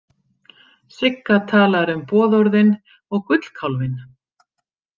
Sigga talar um boðorðin og gullkálfinn.